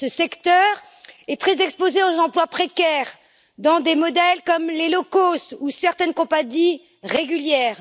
Ce secteur est très exposé aux emplois précaires dans des modèles comme les low cost ou certaines compagnies régulières.